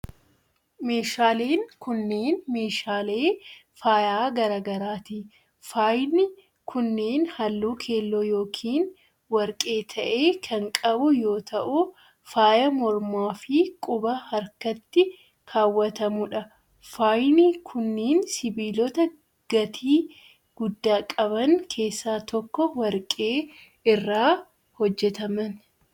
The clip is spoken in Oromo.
Meeshaaleen kunneen, meeshaalee faayaa garaa garaati. Faayni kunneen, haalluu keelloo yokin warqee ta'e kan qabu yoo ta'u, faaya morma fi quba harkaatti kaawwatamuu dha. Faayni kunneen, sibiilota gatii guddaa qaban keessaa tokko warqee irraa hojjataman.